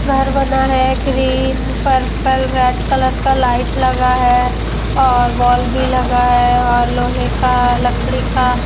घर बना है। ग्रीन पर्पल रेड कलर का लाइट लगा है और वॉल भी लगा है और लोहे का लकड़ी का--